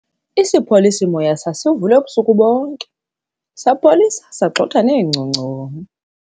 isipholisi-moya sasivulwe ubusuku bonke, sapholisa, sagxotha neengongconi